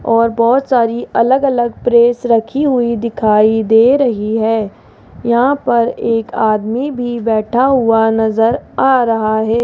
और बहोत सारी अलग अलग प्रेस रखी हुई दिखाई दे रही है यहां पर एक आदमी भी बैठा हुआ नजर आ रहा है।